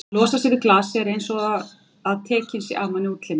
að losa sig við glasið er einsog að tekinn sé af manni útlimur.